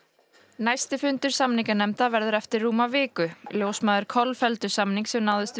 næsti fundur samninganefnda verður eftir rúma viku ljósmæður kolfelldu samning sem náðist